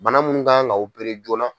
Bana munnu kan ka opere joona.